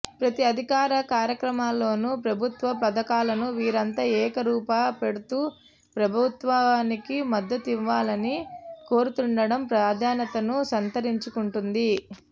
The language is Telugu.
ప్రతి అధికారిక కార్యక్రమాల్లోను ప్ర భుత్వ పథకాలను వీరంతా ఏకరువు పెడుతూ ప్రభుత్వానికి మద్దతునివ్వాలని కోరుతుండడం ప్రాధాన్యతను సంతరించుకుంటోంది